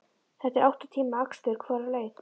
Þetta er átta tíma akstur hvora leið.